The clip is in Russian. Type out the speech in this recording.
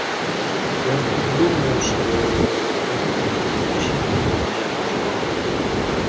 я тут думаю что это исключительно моя заслуга